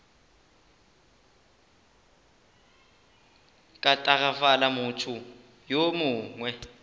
ka tagafala motho yo mongwe